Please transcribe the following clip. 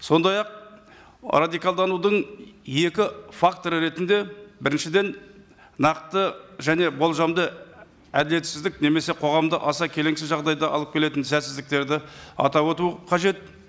сондай ақ радикалданудың екі факторы ретінде біріншіден нақты және болжамды әділетсіздік немесе қоғамда аса келеңсіз жағдайда алып келетін сәтсіздіктерді атап өтуі қажет